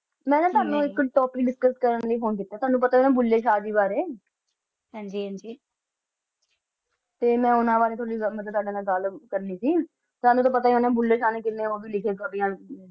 ਮੈਂ ਤੁਹਨੋ ਇਕ important ਗੁਲ ਡਿਸਕਸ ਕਰਨ ਲੈ ਫੋਨ ਕੀਤਾ ਤੁਹਨੋ ਪਤਾ ਹੈ ਨਾ ਬੁਲਾਈ ਸ਼ਾਹ ਡੇ ਬਾਰੇ ਹਨ ਜੀ ਹਨ ਜੀ ਤੁਹਨੋ ਪਤਾ ਹੈ ਨਾ ਬੁੱਲੇ ਸ਼ਾਹ ਦਾ ਬਾਰੇ ਤੁਹਨੋ ਪਤਾ ਨਾਂ ਮੈਂ ਬੁੱਲੇ ਸ਼ਾਹ ਨੂੰ ਕਿੰਨਾ ਲਿਖ ਕਰ ਦੀ ਆਂ